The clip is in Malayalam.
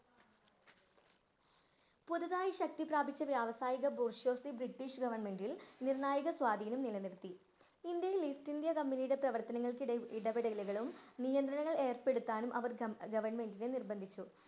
പുതുതായി ശക്തിപ്രാപിച്ച വ്യാവസായിക ബ്രിട്ടീഷ് ഗവർമെൻ്റിൽ നിർണായക സ്വാധീനം നിലനിർത്തി ഇന്ത്യയിൽ ഈസ്റ്റ് ഇന്ത്യൻ കമ്പനിയുടെ പ്രവർത്തങ്ങൾക്കിടെ ഇടപെടലുകളും നിയന്ത്രണം ഏർപ്പെടുത്താനും അവർ അഹ് government നെ നിർബന്ധിച്ചു.